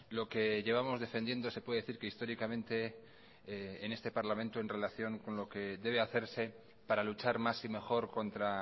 lo que llevamos defendiendo se puede decir que históricamente en este parlamento en relación con lo que debe hacerse para luchar más y mejor contra